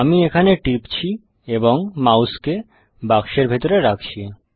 আমি এখানে টিপছি এবং মাউসকে বাক্সের ভেতরে রাখছি